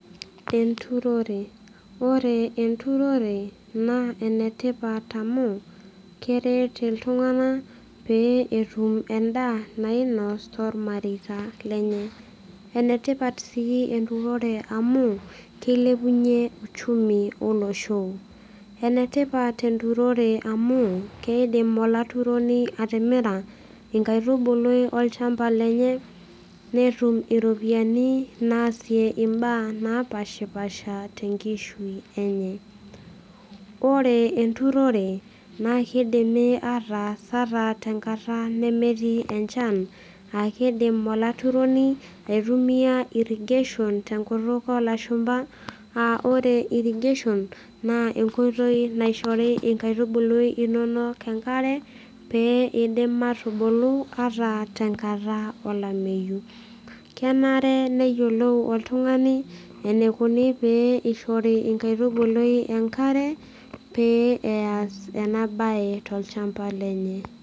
Enturore, ore enturore naa enetipat amu keret iltung'anak pee etum endaa nainos tormareita lenye. Enetipat sii enturore amu keilepunyie uchumi olosho. enetipat enturore amu keidim olaturoni atimira inkaitubulu olchamba lenye netum iropiyiani naasie imbaa napashipasha tenkishui enye. ore enturore naa kidimi ataas ata tenkata nemetii enchan akidim olaturoni aitumia irrigation tenkutuk olashumpa aa ore irrigation naa enkoitoi naishori inkaitubului inonok enkare pee eidim atubulu ata tenkata olameyu. kenare neyiolou oltung'ani enikuni pee ishori inkaitubului enkare pee eas ena baye tolchamba lenye.